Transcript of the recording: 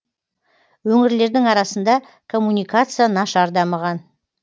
өңірлердің арасында коммуникация нашар дамыған